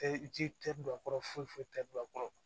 Tɛ ji tɛ don a kɔrɔ foyi foyi tɛ don a kɔrɔ